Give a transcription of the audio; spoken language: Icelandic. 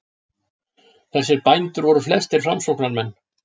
Þessir bændur voru flestir framsóknarmenn.